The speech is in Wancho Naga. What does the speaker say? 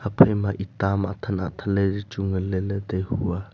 ephai ma eta ma athang athang le zi chu ngan le lah tai koh a.